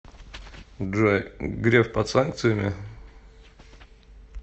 джой греф под санкциями